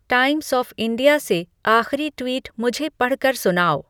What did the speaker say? times of India से आखरी tweet मुझे पढ़ कर सुनाओ